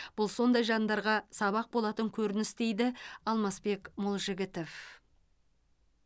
бұл сондай жандарға сабақ болатын көрініс дейді алмасбек молжігітов